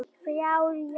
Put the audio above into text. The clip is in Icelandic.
þrjár